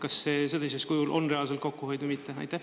Kas sellisel kujul on reaalne kokkuhoid või mitte?